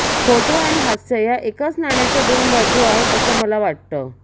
photo आणि हास्य या एकाच नाण्याच्या दोन बाजू आहेत अस मला वाटत